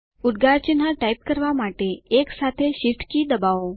ઉદ્ગાર ચિહ્ન ટાઇપ કરવા માટે 1 સાથે Shift કી દબાવો